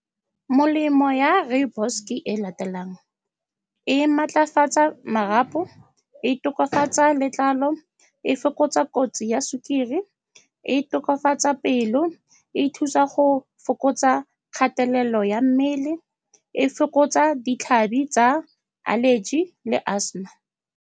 Molemo ya rooibos ke e latelang, e maatlafatsa marapo, e tokafatsa letlalo, e fokotsa kotsi ya sukiri, e tokafatsa pelo, e thusa go fokotsa kgatelelo ya mmele, e fokotsa ditlhabi tsa allergy le asthma.